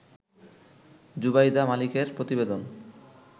জুবাইদা মালিকের প্রতিবেদন